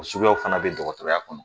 O suguyaw fɛnɛ be dɔgɔtɔrɔya kɔnɔ